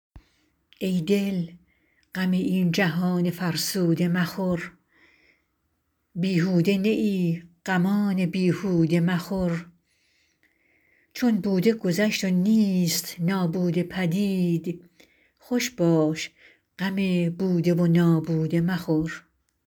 ای دل غم این جهان فرسوده مخور بیهوده نه ای غمان بیهوده مخور چون بوده گذشت و نیست نابوده پدید خوش باش غم بوده و نابوده مخور